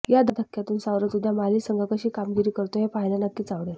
या धक्क्यातून सावरत उद्या माली संघ कशी कामगिरी करतोय हे पाहायला नक्कीच आवडेल